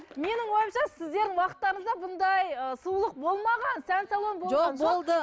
менің ойымша сіздердің уақыттарыңызда мұндай ы сұлулық болмаған сән салоны жоқ болды